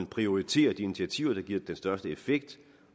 prioriterer de initiativer der giver den største effekt